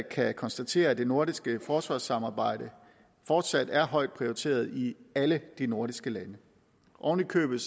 kan konstatere at det nordiske forsvarssamarbejde fortsat er højt prioriteret i alle de nordiske lande oven i købet